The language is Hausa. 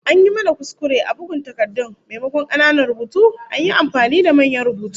An yi mana kuskure a bugun takardun, maimakon kananan rubutu an yi amfani da manyan rubutu